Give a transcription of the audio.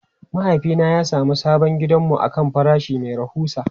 Mahaifina ya sami sabon gidanmu akan farashi mai rahusa.